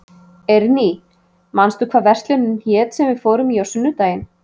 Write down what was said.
Eirný, manstu hvað verslunin hét sem við fórum í á sunnudaginn?